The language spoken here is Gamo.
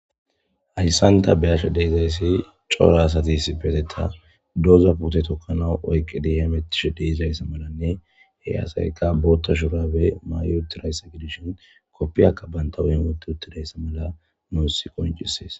Hayssanta beyasho deezayssi cora asatis petetta doza pute tokkana oyqqi diametish deezayssa malanne he asayka bootta shurabe may7otiraysa gedishon koppiakka banta wun woti uttidayssa mala muossi qoncisees.